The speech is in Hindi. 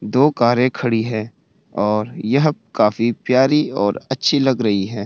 दो कार खड़ी हैं और यह काफी प्यारी और अच्छी लग रही हैं।